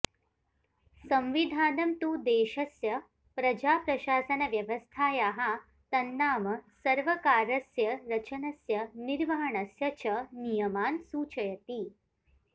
संविधानं तु देशस्य प्रजाप्रशासनव्यवस्थायाः तन्नाम सर्वकारस्य रचनस्य निर्वहणस्य च नियमान् सूचयति